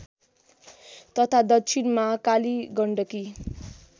तथा दक्षिणमा कालीगण्डकी